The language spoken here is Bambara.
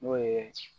N'o ye